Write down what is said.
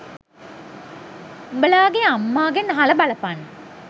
උබලාගෙ අම්මාගෙන් අහලා බලපන්